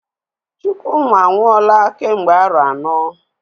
Chukwuma anwụọla kemgbe arọ anọ.